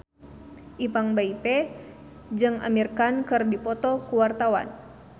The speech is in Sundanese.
Ipank BIP jeung Amir Khan keur dipoto ku wartawan